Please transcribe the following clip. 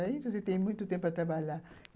Aí você tem muito tempo para trabalhar.